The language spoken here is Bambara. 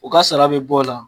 O ka sara be bɔ o la